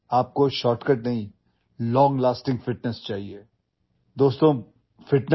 तुम्हाला शॉर्टकट नव्हे तर दीर्घकाळ टिकणारी तंदुरुस्ती हवी आहे